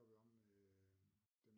Der var vi omme ved